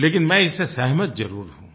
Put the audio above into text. लेकिन मैं इससे सहमत ज़रूर हूँ